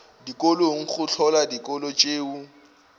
dikolong go hlola dikolo tšeo